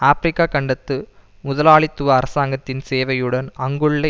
Africa கண்டத்து முதலாளித்துவ அரசாங்கத்தின் சேவையுடன் அங்குள்ள